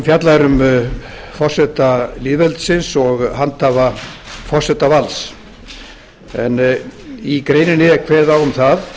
er um forseta lýðveldisins og handhafa forsetavalds en í greininni er kveðið á um það